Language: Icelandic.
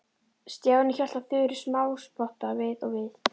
Stjáni hélt á Þuru smáspotta við og við.